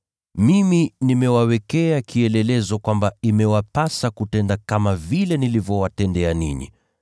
Mimi nimewawekea kielelezo kwamba imewapasa kutenda kama vile nilivyowatendea ninyi.